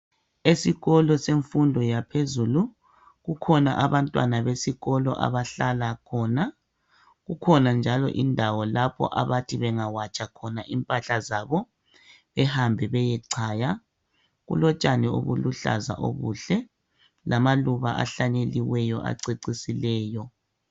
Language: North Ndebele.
Esikolo semfundo yaphezulu kukhona abantwana besikolo abahlala khona kukhona njalo indawo lapho abathi bangawatsha khona impahla zabo behambe beyechaya kulotshani obuluhlaza obuhle lamaluba ahlanyeliweyo acecisileyo.